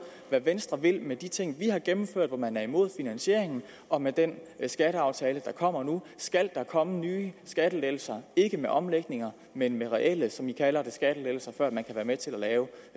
hvad venstre vil med de ting vi har gennemført hvor man er imod finansieringen og med den skatteaftale der kommer nu skal der komme nye skattelettelser ikke med omlægninger men med reelle som man kalder det skattelettelser før man kan være med til at lave